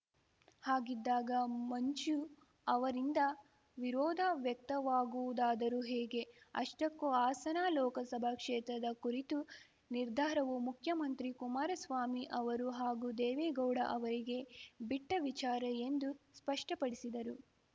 ಹಾಗಿದ್ದಾಗ ಮಂಜು ಅವರಿಂದ ವಿರೋಧ ವ್ಯಕ್ತವಾಗುವುದಾದರೂ ಹೇಗೆ ಅಷ್ಟಕ್ಕೂ ಹಾಸನ ಲೋಕಸಭಾ ಕ್ಷೇತ್ರದ ಕುರಿತು ನಿರ್ಧಾರವು ಮುಖ್ಯಮಂತ್ರಿ ಕುಮಾರಸ್ವಾಮಿ ಅವರು ಹಾಗೂ ದೇವೇಗೌಡ ಅವರಿಗೆ ಬಿಟ್ಟವಿಚಾರ ಎಂದು ಸ್ಪಷ್ಟಪಡಿಸಿದರು